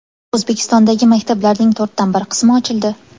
O‘zbekistondagi maktablarning to‘rtdan bir qismi ochildi.